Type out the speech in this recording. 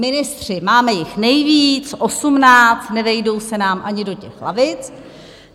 Ministři, máme jich nejvíc, osmnáct, nevejdou se nám ani do těch lavic.